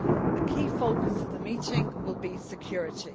A key focus of the meeting will be security.